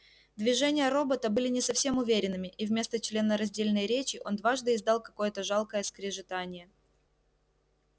движения робота были не совсем уверенными и вместо членораздельной речи он дважды издал какое-то жалкое скрежетание